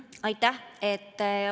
Aitäh!